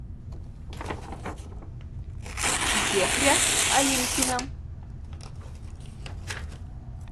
зехря алимкина